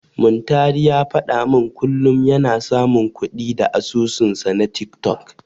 Muntari ya faɗa min kullum yana samun kuɗi da asusunsa na tiktok.